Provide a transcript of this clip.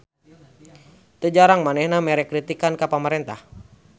Teu jarang manehna mere kritikan ka pamarentah.